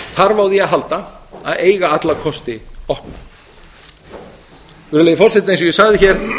þarf á því að halda að eiga alla kosti opna virðulegi forseti eins og ég sagði hér